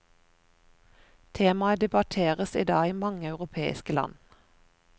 Temaet debatteres i dag i mange europeiske land.